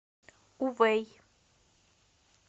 увэй